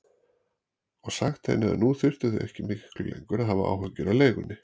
Og sagt henni að nú þyrftu þau ekki miklu lengur að hafa áhyggjur af leigunni.